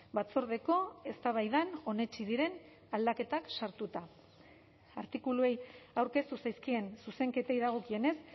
batzordeko eztabaidan onetsi diren aldaketak sartuta artikuluei aurkeztu zaizkien zuzenketei dagokienez